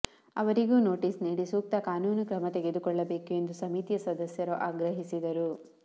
ಅವರಿಗೂ ನೋಟಿಸ್ ನೀಡಿ ಸೂಕ್ತ ಕಾನೂನು ಕ್ರಮ ತೆಗೆದುಕೊಳ್ಳಬೇಕು ಎಂದು ಸಮಿತಿಯ ಸದಸ್ಯರು ಆಗ್ರಹಿಸಿದರು